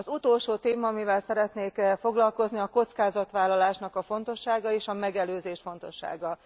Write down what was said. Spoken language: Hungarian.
Az utolsó téma, amivel szeretnék foglalkozni, a kockázatvállalásnak a fontossága, és a megelőzés fontossága.